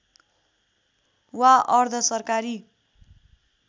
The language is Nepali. वा अर्धसरकारी